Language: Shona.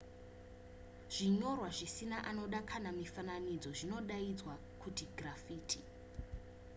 zvinyorwa zvisina anoda kana mifananidzo zvinodaidzwa kuti giraffiti